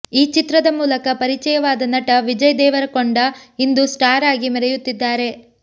ಈ ಚಿತ್ರದ ಮೂಲಕ ಪರಿಚಯವಾದ ನಟ ವಿಜಯ್ ದೇವರಕೊಂಡ ಇಂದು ಸ್ಟಾರ್ ಆಗಿ ಮೆರೆಯುತ್ತಿದ್ದಾರೆ